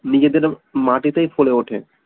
নিজেদের মাটিতেই ফলে উঠে